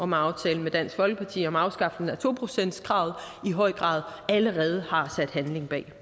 med aftalen med dansk folkeparti om afskaffelsen af to procentskravet i høj grad allerede har sat handling bag